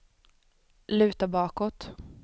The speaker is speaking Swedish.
luta bakåt